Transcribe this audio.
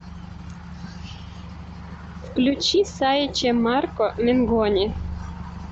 включи сай че марко менгони